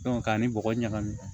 k'a ni bɔgɔ ɲagami